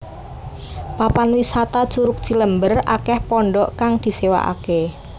Papan wisata Curug Cilember akeh pondhok kang disewaaké